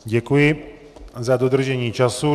Děkuji za dodržení času.